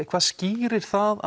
hvað skýrir það